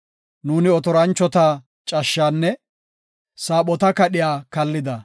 Nuuni otoranchota cashshaanne saaphota kadhiya kallida.